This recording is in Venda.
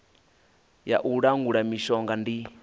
ya u langula mishonga ndi